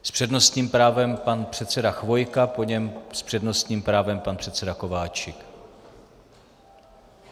S přednostním právem pan předseda Chvojka, po něm s přednostním právem pan předseda Kováčik.